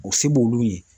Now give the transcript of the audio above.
O se b'olu ye